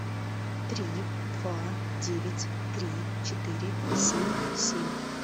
три два девять три четыре семь семь